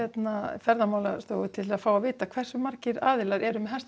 ferðamálstofu til þess að fá að vita hversu margir aðilar eru með